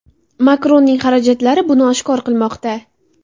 Makronning xarajatlari buni oshkor qilmoqda.